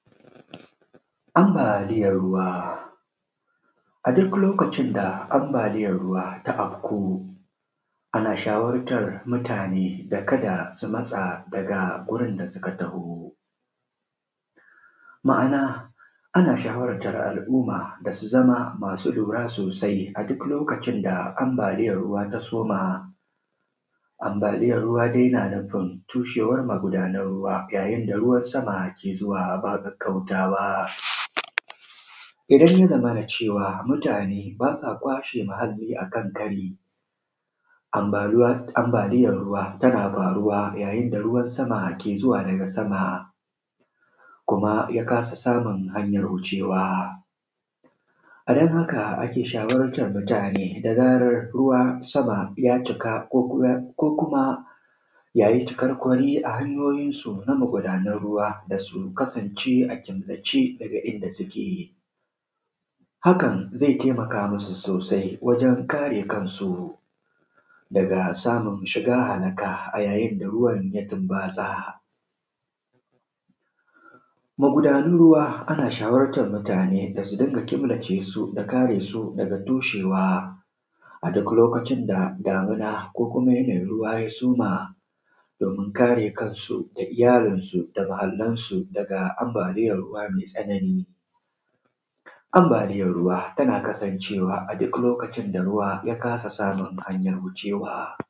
Ambaliyan ruwa, a duk lokacin da ambaliyan ruwa ta auku. Ana shawartar mutane da kada su matsa daga wurin da suka taho. Ma’ana ana shawartar al’umma da su zama masu lura sosai a duk lokacin da ambaliyan ruwa ta soma. Ambaliyan ruwa dai na nufin cushewar magudanan ruwa yayin da ruwan sama yake zuwa ba ƙaƙƙautawa. Idan ya zamana cewa mutane bas a kwashe muhalli a kan kari, ambaluwa ambaliyan ruwa tana faruwa ne yayin da ruwan sama ke zuwa daga sama. Kuma ya kasa samun hanyan wucewa. A dan haka ake shawartar mutane da zarar ruwan sama ya cika ko kuma, ya yi cikar kwari a hanyoyinsu na mugudanan ruwa, da su kasance a killace daga inda suke. Hakan zai taimaka masu sosai wajen kare kansu, daga samun shiga halaka a yayin da ruwan ya tumbatsa. Magudanun ruwa ana shawartar mutane da su dinga killace su da kare su daga cushewa. A duk lokacin da damina ko kuma yanayin ruwa ya soma domin kare kansu da iyalinsu da muhallansu daga ambaliyan ruwa mai tsanani. Ambaliyan ruwa tana kasancewa a duk lokacin da ruwa ya kasa samun hanyar wucewa.